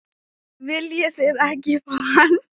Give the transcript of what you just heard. Viljið þið ekki fá hann?